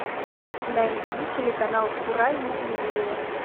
найди телеканал курай на телевизоре